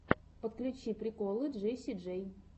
подключи приколы джесси джей